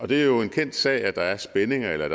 det er jo en kendt sag at der er spændinger eller